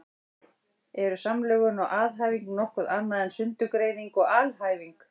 Eru samlögun og aðhæfing nokkuð annað en sundurgreining og alhæfing?